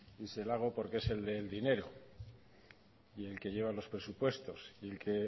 y se le hago porque es el del dinero y el que lleva los presupuestos y el que